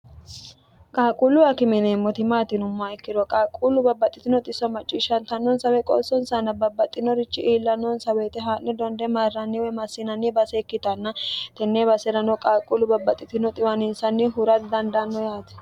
qaalquulluwa kimineemmoti maatinumma ikkiro qaalquullu babbaxxitino xisso macciishshantannonsawe qoossonsanna babbaxxinorichi iilla noonsa weyite haa'ni donde mairranniwe massinanni base ikkitanna tennee base'rano qaalquullu babbaxxitino xiwaniinsanni hura dandaanno yaati